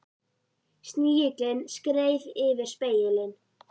Snigillinn skreið yfir spegilinn.